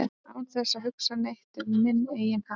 án þess að hugsa neitt um minn eigin hag